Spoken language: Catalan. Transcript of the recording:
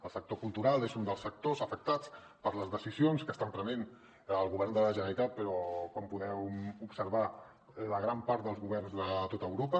el sector cultural és un dels sectors afectats per les decisions que està prenent el govern de la generalitat però com podeu observar la gran part dels governs de tot europa